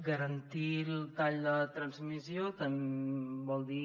garantir el tall de transmissió vol dir